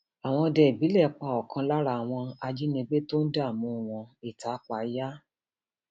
àwọn òde ìbílẹ pa ọkan lára àwọn ajínigbé tó ń dààmú wọn ìtápayá